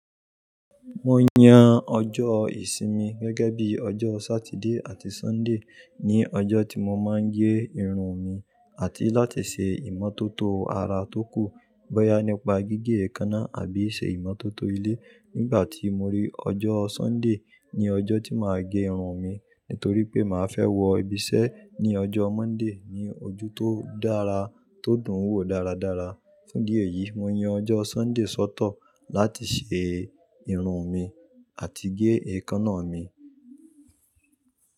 Mo yan ọjọ́ ìsinmi gẹ́gẹ́ bí ọjọ́ Sátidé àti Sọ́ńdè ní ọjọ́ tí mo máa ń gẹ irun mi àti láti ṣe ìmọ́tótó ara tó kù, bọ́yá nípa gígé èékánná àbí ṣe ìmọ́tótó ilé. Nígbà tí mo rí ọjọ́ Sọ́ńdè ní ọjọ́ tí màá gé irun mi, nítorí pé màá fẹ́ wọ ibiṣẹ́ ní ọjọ́ Monday ní ojú tó dára, tó dùn wò dáradára. Fún díẹ̀ yìí, mo yan ọjọ́ Sọ́ńdè sọ́tọ̀ láti ṣe irun mi àti gé èékánná mi.